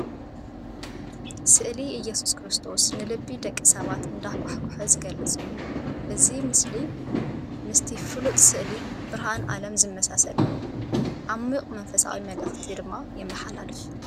ስእሊ ኢየሱስ ክርስቶስ ንልቢ ደቂ ሰባት እንዳኳሕኮሐ ዝገልጽ እዩ። እዚ ስእሊ ምስቲ ፍሉጥ ስእሊ "ብርሃን ዓለም" ዝመሳሰል እዩ። ዓሚቝ መንፈሳዊ መልእኽቲ ድማ የመሓላልፍ።